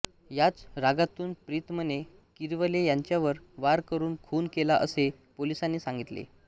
याच रागातून प्रीतमने किरवले यांच्यावर वार करून खून केला असे पोलिसांनी सांगितले